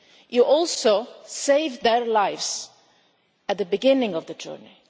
sea. You also save their lives at the beginning of the journey.